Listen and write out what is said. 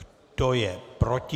Kdo je proti?